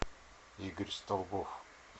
игорь столбов